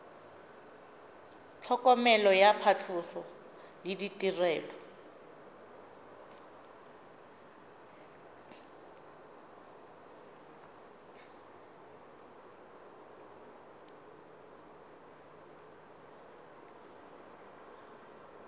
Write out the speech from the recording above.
tlhokomelo ya phatlhoso le ditirelo